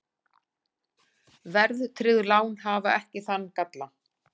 Verðtryggð lán hafa ekki þann galla.